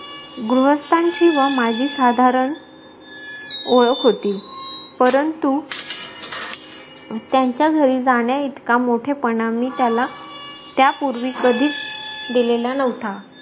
गृहस्थांची व माझी साधारणओळक होती परंतु त्यांचा घरी जाण्याइतका मोठेपना मी त्याला त्या पूर्वी कधीच दिलेला नव्हता